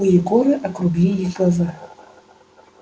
у егора округлились глаза